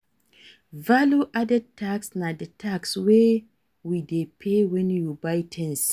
Value Added Tax na di tax wey we dey pay when we buy things